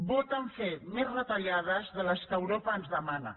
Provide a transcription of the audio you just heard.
voten fer més retallades de les que europa ens demana